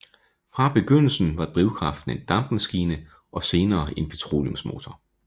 Fra begyndelsen var drivkraften en dampmaskine og senere en petroleumsmotor